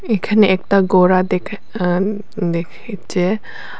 এখানে একটা গোড়া দেখা দেখি চে।